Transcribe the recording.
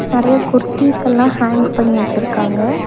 நெறையா குர்தீஸ் எல்லா ஹேங் பண்ணி வச்சுருக்காங்க.